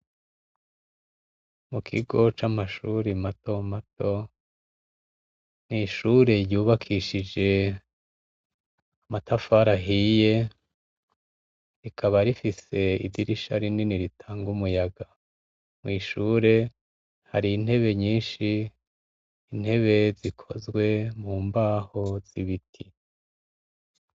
Mu kigo c'amashuri mato mato, ni ishure yubakishije amatafari ahiye rikaba rifise idirisha rinini ritanga umuyaga, mw'ishure hari intebe nyinshi intebe zikozwe mu mbaho z'ibiti.